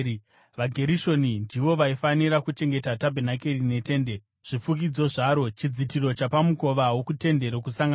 VaGerishoni ndivo vaifanira kuchengeta tabhenakeri netende, zvifukidzo zvaro, chidzitiro chapamukova wokuTende Rokusangana,